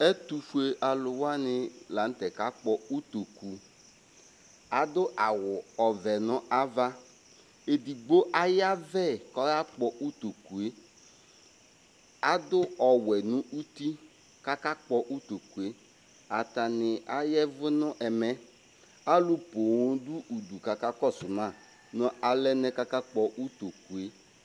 Ɛtʋfue alʋ wani lanʋtɛ kakpɔ ʋtokʋ adʋ awʋ ɔvɛ nʋ ava ɛdigbo ayavɛ kʋ ɔyakpɔ ʋtokʋe adʋ ɔwɛ nʋ ʋti kʋ akakpɔ ʋtokʋe atani aya ɛvʋ nʋ ɛmɛ alʋ poo dʋ ʋdʋ kʋ aka kɔsʋ ma nʋ alɛnɛ kʋ akakpɔ ʋtokʋe